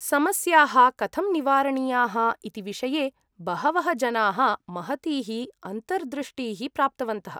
समस्याः कथं निवारणीयाः इति विषये बहवः जनाः महतीः अन्तर्दृष्टीः प्राप्तवन्तः ।